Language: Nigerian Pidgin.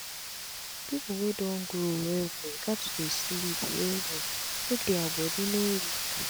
pipu wey don grow well well gats dey sleep well well make dia bodi no weak